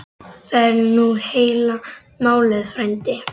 Það er nú heila málið frændi.